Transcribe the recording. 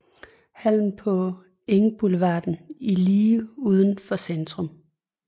Hallen på Engboulevarden i lige uden for Centrum